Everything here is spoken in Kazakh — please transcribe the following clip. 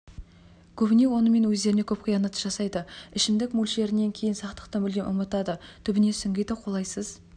көбіне онымен өздеріне көп қиянат жасайды ішімдік мөлшерінен кейін сақтықты мүлде ұмытады түбіне сүңгиді қолайсыз